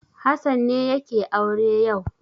Hassan ne yake aure yau.